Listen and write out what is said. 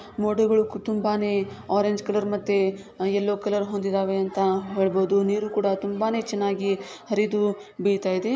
ಮೋಡಗಳು ತುಂಬಾನೇ orange colour ಮತ್ತೆ ಯಲ್ಲೋ ಕಲರ್ ಹೊಂದಿದಾವೆ ಅಂತಾ ಹೇಳಬಹುದು. ನೀರು ಕೂಡ ತುಂಬಾನೇ ಚೆನ್ನಾಗಿ ಹರಿದು ಬೀಗ್ತಾಯಿದೆ.